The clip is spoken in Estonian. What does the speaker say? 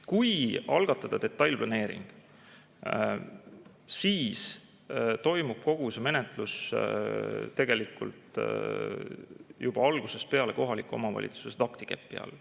Kui algatada detailplaneering, siis toimub kogu see menetlus tegelikult juba algusest peale kohaliku omavalitsuse taktikepi all.